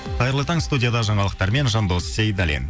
қайырлы таң студияда жаңалықтармен жандос сейдаллин